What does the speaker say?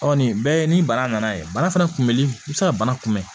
Ɔ nin bɛɛ ye ni bana nana ye bana fana kunbɛli i bɛ se ka bana kunbɛn